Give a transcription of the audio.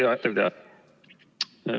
Hea ettekandja!